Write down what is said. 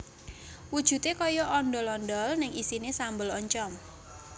Wujudé kaya ondhol ondhol ning isiné sambel oncom